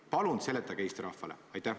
Palun seletage Eesti rahvale!